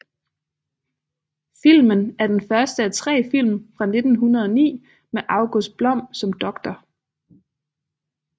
Filmen er den første af tre film fra 1909 med August Blom som Dr